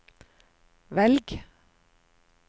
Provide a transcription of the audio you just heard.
velg